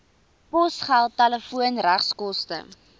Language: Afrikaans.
posgeld telefoon regskoste